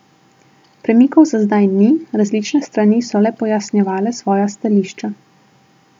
Premikov za zdaj ni, različne strani so le pojasnjevale svoja stališča.